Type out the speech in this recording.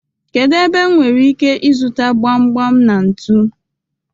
Kedu ebe m nwere ike ịzụta gbam gbam na ntu?